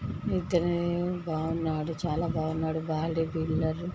బాగున్నాడు చాలా బాగున్నాడు .